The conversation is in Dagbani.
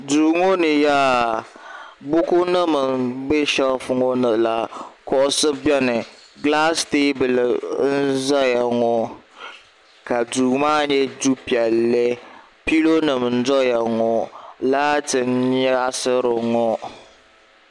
duu ŋɔ ni yaa buku nim n bɛ sheelf ŋɔ ni la kuɣusi biɛni gilaas teebuli n ʒɛya ŋɔ ka duu maa nyɛ du piɛlli pilo nim n doya ŋɔ laati n nyaɣasiri ŋɔ